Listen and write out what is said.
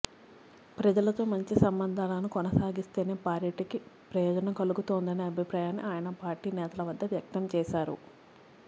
ప్రజలతో మంచి సంబంధాలను కొనసాగిస్తేనే పార్టీకి ప్రయోజనం కలుగుతోందనే అభిప్రాయాన్ని ఆయన పార్టీ నేతల వద్ద వ్యక్తం చేశారు